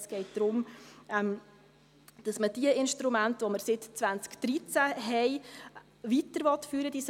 Es geht darum, dass man diese Instrumente, die wir seit 2013 haben, weiterführen will.